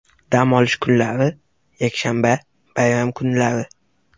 Dam olish kunlari: Yakshanba, bayram kunlari.